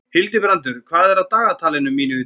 Hildibrandur, hvað er á dagatalinu mínu í dag?